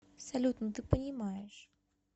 салют ну ты понимаешь